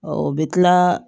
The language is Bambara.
o bɛ tila